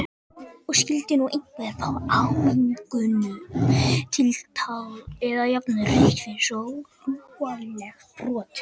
Og skyldi nú einhver fá áminningu, tiltal eða jafnvel rautt fyrir svo lúalegt brot?